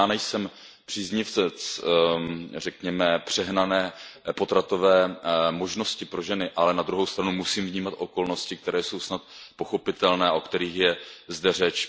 Ani já nejsem příznivcem, řekněme, přehnané potratové možnosti pro ženy, ale na druhou stranu musím vnímat okolnosti, které jsou snad pochopitelné a o kterých je zde řeč.